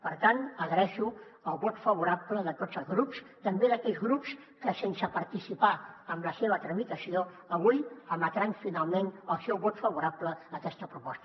per tant agraeixo el vot favorable de tots els grups també d’aquells grups que sense participar en la seva tramitació avui emetran finalment el seu vot favorable a aquesta proposta